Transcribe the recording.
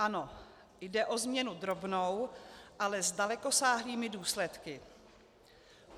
Ano, jde o změnu drobnou, ale s dalekosáhlými důsledky.